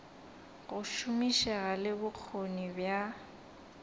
go šomišega le bokgoni bja